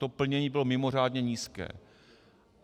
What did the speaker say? To plnění bylo mimořádně nízké.